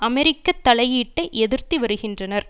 அமெரிக்க தலையீட்டை எதிர்த்து வருகின்றனர்